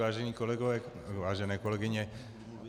Vážení kolegové, vážené kolegyně.